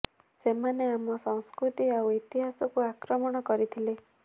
ସେମାନେ ଆମ ସଂସ୍କୃତି ଆଉ ଇତିହାସ କୁ ଆକ୍ରମଣ କରିଥିଲେ